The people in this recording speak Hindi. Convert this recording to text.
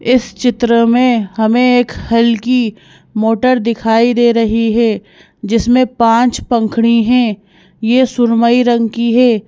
इस चित्र में हमें एक हल्की मोटर दिखाई दे रही है जिसमें पांच पंखड़ी हैं यह सुरमई रंग की है।